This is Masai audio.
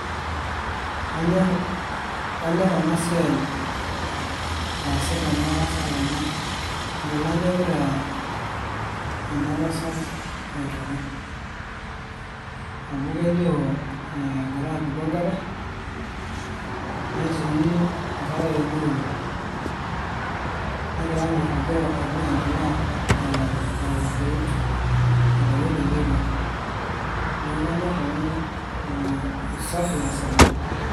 Kanyorr kanyorr ena siai naasita ena tasat amu inkilani egira ena tasat aituku amu kelio egira apiku enkare netii inkarayeni uni negira ninye airrugo aibung enkila ee aiwutiwut aitayu oloiterio neeku kanyorr amu usafi eesita.